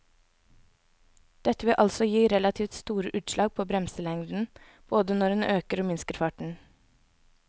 Dette vil altså gi relativt store utslag på bremselengden både når en øker og minsker farten.